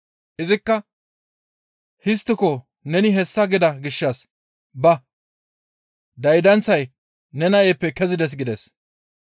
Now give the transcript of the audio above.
Izikka, «Histtiko neni hessa gida gishshas ba! Daydanththay ne nayppe kezides» gides.